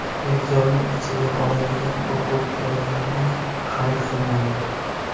Benzolni ichiga oladigan o‘quv-qurollarni xarid qilmang.